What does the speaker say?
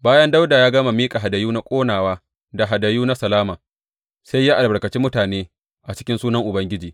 Bayan Dawuda ya gama miƙa hadayu na ƙonawa da hadayu na salama, sai ya albarkaci mutane a cikin sunan Ubangiji.